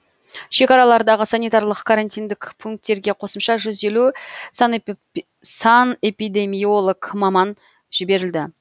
шекаралардағы санитарлық карантиндік пункттерге қосымша жүз елу санэпидемиолог маман жіберілді